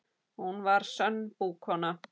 Hún var sönn búkona.